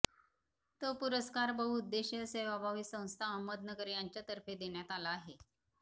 तो पुरस्कार बहुउद्देशीय सेवाभावी संस्था अहमदनगर यांच्या तर्फेदेण्यात आला आहे